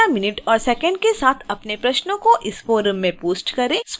कृपया मिनट और सेकंड के साथ अपने प्रश्नों को इस फोरम में पोस्ट करें